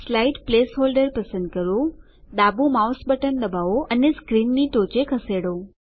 slide placeholder પસંદ કરો ડાબુ માઉસ બટન દબાવો અને સ્ક્રીનની ટોચે ખસેડો